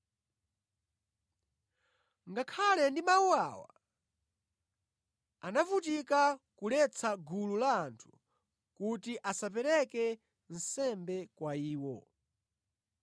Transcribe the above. Ngakhale ndi mawu awa, anavutika kuletsa gulu la anthu kuti asapereke nsembe kwa iwo.